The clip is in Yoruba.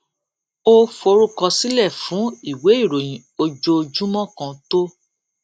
ó forúkọsílè fún ìwé ìròyìn ojoojúmó kan tó